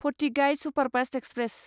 फथिगाय superfast express